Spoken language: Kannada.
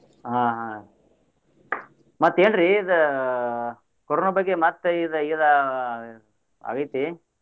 ಆಹ್ ಆಹ್ ಮತ್ತೇನ್ರೀ ಇದ್ ಕೋರೋನಾ ಬಗ್ಗೆ ಮತ್ತ್ ಇದ್ ಇದ್ ಆಗೇತಿ.